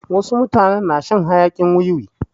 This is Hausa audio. Wasu mutane na shan hayakin wiwi.